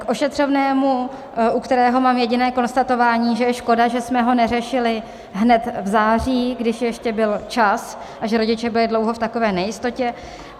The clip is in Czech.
K ošetřovnému, u kterého mám jediné konstatování, že je škoda, že jsme ho neřešili hned v září, když ještě byl čas, a že rodiče byli dlouho v takové nejistotě.